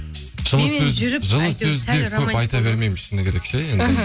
жылы сөз жылы сөздер көп айта бермеймін шыны керек ше енді іхі